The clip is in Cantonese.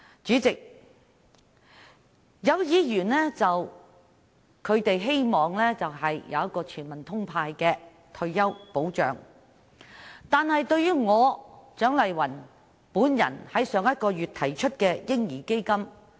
主席，有議員希望落實全民"通派"的退休保障，但他們卻不認同我於上月提出的"嬰兒基金"。